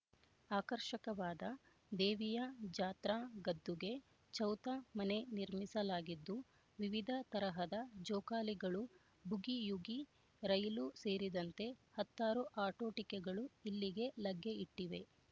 ಆಕರ್ಷಕವಾದ ದೇವಿಯ ಜಾತ್ರಾ ಗದ್ದುಗೆ ಚೌತ ಮನೆ ನಿರ್ಮಿಸಲಾಗಿದ್ದು ವಿವಿದ ತರಹದ ಜೋಕಾಲಿಗಳು ಬೂಗಿಯೂಗಿ ರೈಲು ಸೇರಿದಂತೆ ಹತ್ತಾರು ಆಟೋಟಿಕೆಗಳು ಇಲ್ಲಿಗೆ ಲಗ್ಗೆ ಇಟ್ಟಿವೆ